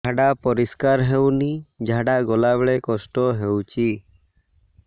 ଝାଡା ପରିସ୍କାର ହେଉନି ଝାଡ଼ା ଗଲା ବେଳେ କଷ୍ଟ ହେଉଚି